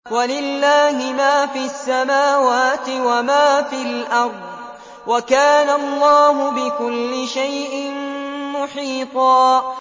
وَلِلَّهِ مَا فِي السَّمَاوَاتِ وَمَا فِي الْأَرْضِ ۚ وَكَانَ اللَّهُ بِكُلِّ شَيْءٍ مُّحِيطًا